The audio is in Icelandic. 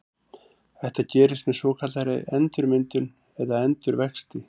Þetta gerist með svokallaðri endurmyndun eða endurvexti.